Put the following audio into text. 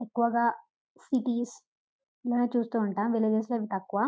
ఎక్కువగా సిటీస్ లో చూస్తుంటాము విల్లజెస్లో తక్కువ.